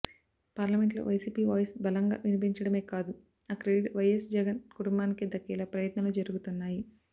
parliament లో YCP voice బలంగా వినిపించడమే కాదు ఆ క్రెడిట్ వైఎస్ జగన్ కుటుంబానికే దక్కేలా ప్రయత్నాలు జరుగుతున్నాయి